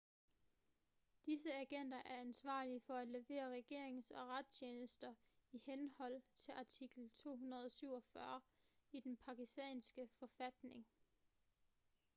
disse agenter er ansvarlige for at levere regerings- og retstjenester i henhold til artikel 247 i den pakistanske forfatning